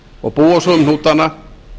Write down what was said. og búa svo um hnútana